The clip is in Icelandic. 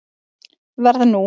Verð nú.